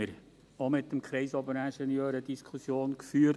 Darüber haben wir mit dem Kreisoberingenieur auch eine Diskussion geführt.